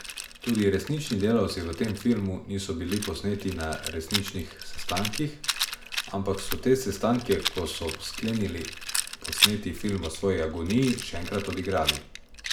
Tudi resnični delavci v tem filmu niso bili posneti na resničnih sestankih, ampak so te sestanke, ko so sklenili posneti film o svoji agoniji, še enkrat odigrali.